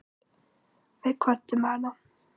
Við kvöddum hann.